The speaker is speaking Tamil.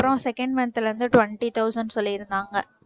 அப்புறம் second month ல இருந்து twenty thousand சொல்லியிருந்தாங்க